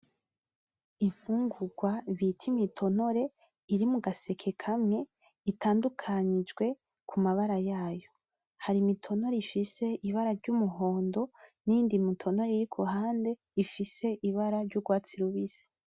Imfungurwa bita Imitonore iri mugaseke kamwe itandukanijwe kumabara yayo. Hari Imitonore ifise Ibara ry'Umuhondo, niyindi mitonore iri kuruhande ifise Ibara ry'urwatsi rubisi.